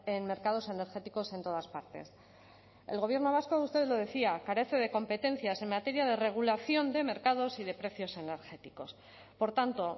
en mercados energéticos en todas partes el gobierno vasco usted lo decía carece de competencias en materia de regulación de mercados y de precios energéticos por tanto